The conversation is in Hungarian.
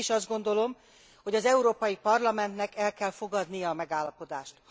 Mégis azt gondolom, hogy az Európai Parlamentnek el kell fogadnia a megállapodást.